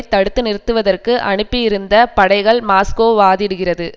தடுத்து நிறுத்துவதற்கு அனுப்பியிருந்த படைகள் மாஸ்கோ வாதிடுகிறது